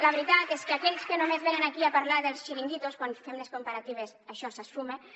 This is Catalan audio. la veritat és que aquells que només venen aquí a parlar dels xiringuitos quan fem les comparatives això s’esfuma